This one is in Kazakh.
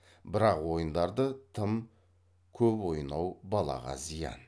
бірақ ойындарды тым кеп ойнау балаға зиян